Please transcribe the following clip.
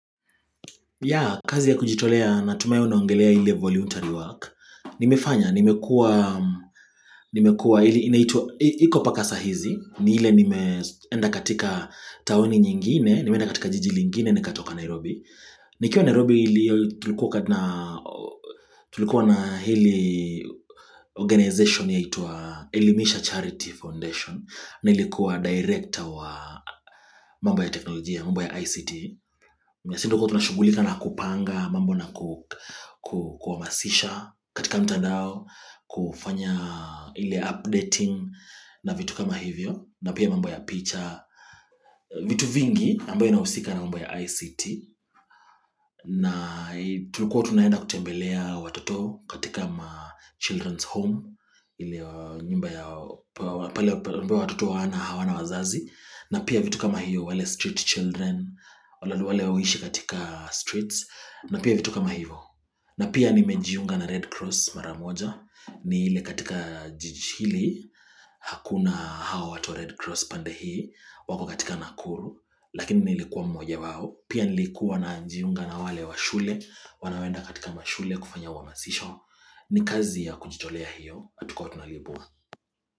Kazi ya kujitolea natumahi unaongelea ile voluntary work, nimefanya, nimekuwa, nimekuwa, iko mpaka saa hizi, ni ile nimeenda katika taoni nyingine, nimeenda katika jiji lingine nikatoka Nairobi. Nikiwa Nairobi hili tulikuwa na hili organization yaitwa Elimisha Charity Foundation nilikuwa director wa mambo ya teknolojia, mambo ya ICT Sisi ndio tulikuwa tunashughulika na kupanga, mambo na kuhamasisha katika mtandao kufanya ile updating na vitu kama hivyo na pia mambo ya picha, vitu vingi ambayo inahusika na mambo ya ICT na tulikuwa tunaenda kutembelea watoto katika children's home ile nyumba ya pale ambayo watoto hawana wazazi na pia vitu kama hiyo wale street children wale huishi katika streets na pia vitu kama hivo na pia nimejiunga na red cross mara moja ni ile katika jiji hili hakuna hao watu wa red cross pande hii wako katika Nakuru lakini nilikuwa mmoja wao pia nilikuwa najiunga na wale wa shule wanaoenda katika mashule kufanya uhamasisho ni kazi ya kujitolea hiyo hatukuwa tunalipwa.